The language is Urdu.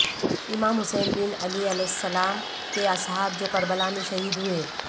امام حسین بن علی علیہ السلام کے اصحاب جو کربلا میں شہید ہوئے